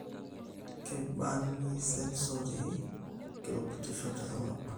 Keibani sensory kirubutishoni te sarngab